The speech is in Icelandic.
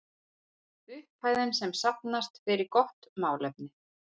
Upphæðin sem safnast fer í gott málefni.